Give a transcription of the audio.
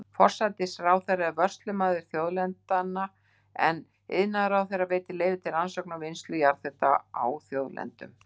Forsætisráðherra er vörslumaður þjóðlendna, en iðnaðarráðherra veitir leyfi til rannsókna og vinnslu jarðhita á þjóðlendum.